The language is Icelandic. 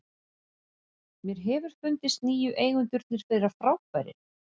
Mér hefur fundist nýju eigendurnir vera frábærir.